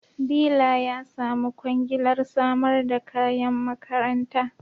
Dila ya samu kwangilar samar da kayan makaranta